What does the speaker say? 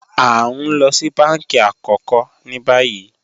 A n lọ sí bánkí àkókò ní bàyì